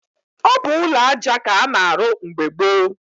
Ọ bụ ụlọaja k'a na-arụ mgbe gboo.